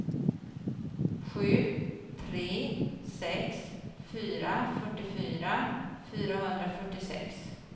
sju tre sex fyra fyrtiofyra fyrahundrafyrtiosex